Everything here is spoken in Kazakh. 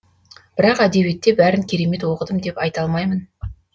бірақ әдебиетте бәрін керемет оқыдым деп айта алмаймын